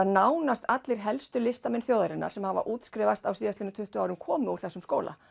nánast allir listamenn þjóðarinnar sem hafa útskrifast á síðastliðnum tuttugu árum komið úr þessum skóla